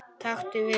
Taktu við.